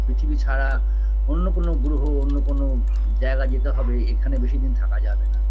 পৃথিবী ছাড়া অন্য কোনো গ্ৰহ অন্য কোনো জায়গায় যেতে হবে এখানে বেশিদিন থাকা যাবেনা